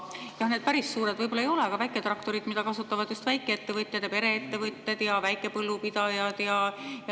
Jah, need päris suured võib-olla ei ole, aga on väiketraktorid, mida kasutavad just väikeettevõtjad: pereettevõtted ja väikepõllupidajad.